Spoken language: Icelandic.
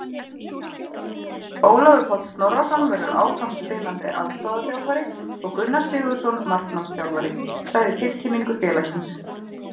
Ólafur Páll Snorrason verður áfram spilandi aðstoðarþjálfari og Gunnar Sigurðsson markmannsþjálfari, sagði í tilkynningu félagsins.